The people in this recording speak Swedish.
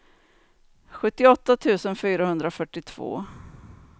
sjuttioåtta tusen fyrahundrafyrtiotvå